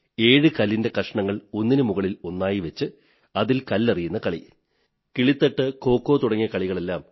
7 കല്ലിന്റെ കഷണങ്ങൾ ഒന്നിനുമുകളിൽ ഒന്നായി വച്ച് അതിൽ എറിയുന്ന കളി കിളിത്തട്ട് ഖോഖോ തുടങ്ങിയവയെല്ലാം